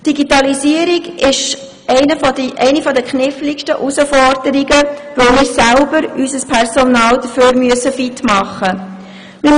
«Die Digitalisierung ist eine der kniffligsten Herausforderungen, weil wir selber unser Personal dafür fit machen müssen.